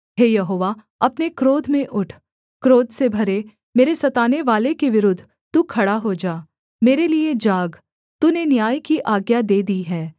हे यहोवा अपने क्रोध में उठ क्रोध से भरे मेरे सतानेवाले के विरुद्ध तू खड़ा हो जा मेरे लिये जाग तूने न्याय की आज्ञा दे दी है